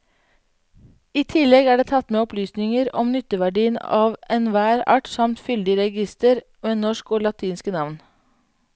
I tillegg er det tatt med opplysninger om nytteverdien av enhver art samt fyldig reigister med norske og latinske navn.